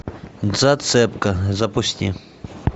зацепка запусти